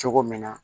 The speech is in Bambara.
Cogo min na